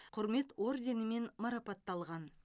құрмет орденімен марапатталған